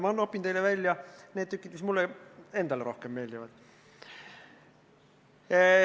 Mina nopin teile välja need tükid, mis mulle endale meeldivad.